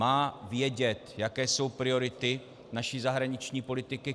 Má vědět, jaké jsou priority naší zahraniční politiky.